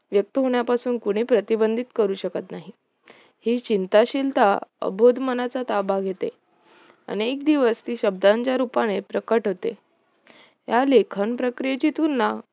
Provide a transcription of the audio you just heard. व्यक्त होण्यापासून कोणी प्रतिबंधित करू शकत नाही ही चिंता शिलता अबोध मनाचा ताबा घेते, आणि एक दिवस ती शब्दांच्या रूपाने प्रकट होते या लेखन प्रक्रियेची तुलना